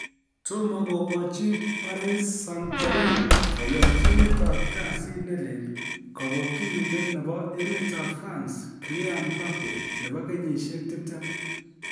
Tomo kogochi paris St-German koyonchinet ab kasit ne lel, Kobokyinindet nebo emetab France Kylian Mbappe, nebo kenyisiek 20.